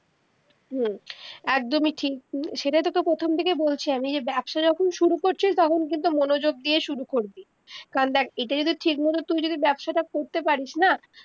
হম একদমি ঠিক সেইটাই তো তকে প্রথম থেকে বলছি আমি যে ব্যবসা যখন শুরু করছিস তখন কিন্তু মনযোগ দিয়ে শুরু করবি কারণ দেখ এইটা যদি ঠিক মত তুই যদি বেবসাটা করতে পারিস না